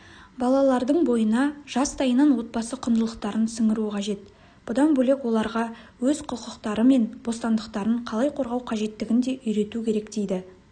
балалардың бойына жастайынан отбасы құндылықтарын сіңіру қажет бұдан бөлек оларға өз құқықтары мен бостандықтарын қалай қорғау қажеттігін де үйрету керек дейді